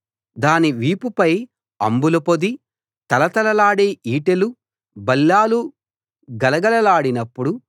దాని వీపుపై అంబుల పొది తళతళలాడే ఈటెలు బల్లేలు గలగలలాడినప్పుడు